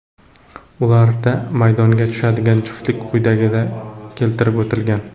Ularda maydonga tushadigan juftliklar quyida keltirib o‘tilgan.